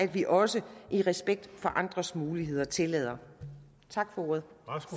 vi også i respekt for andres muligheder tillader tak for ordet